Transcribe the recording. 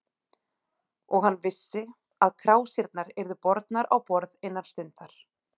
Og hann vissi, að krásirnar yrðu bornar á borð innan stundar.